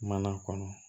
Mana kɔnɔ